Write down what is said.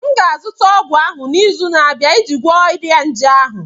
m ga-azụta ọgwụ ahụ n'izu na-abịa iji gwọọ ọrịa nje ahụ